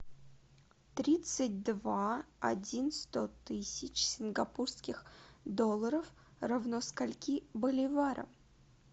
тридцать два один сто тысяч сингапурских долларов равно скольки боливарам